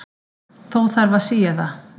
Þó þarf að sía það.